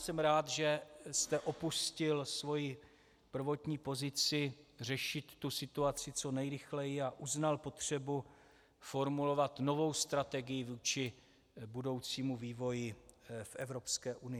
Jsem rád, že jste opustil svoji prvotní pozici řešit tu situaci co nejrychleji a uznal potřebu formulovat novou strategii vůči budoucímu vývoji v Evropské unii.